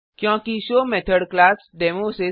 क्योंकि show method class demo